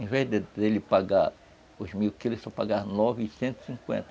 Em vez dele dele pagar os mil quilos, ele só pagava novecentos e cinquenta.